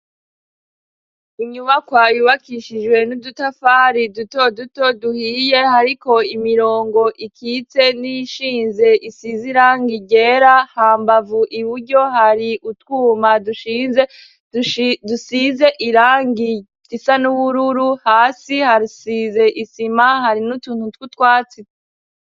nyubakwa yubakishijwe n'udutafari duto duto duhiye hariko imirongo ikitse n'iyishinze, isize irang ryera hambavu iburyo hari utwuma dusize irangi risa n'ubururu hasi hasize isima hari n'utuntu tw'utwatsi.